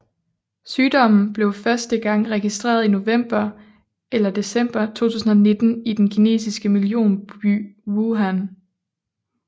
Sygdommen blev første gang registreret i november eller december 2019 i den kinesiske millionby Wuhan